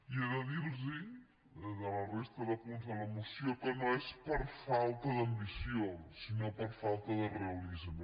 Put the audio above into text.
i he de dir los de la resta de punts de la moció que no és per falta d’ambició sinó per falta de realisme